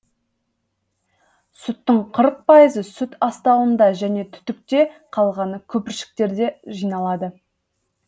сүттің қырық пайызы сүт астауында және түтікте қалғаны көпіршіктерде жиналады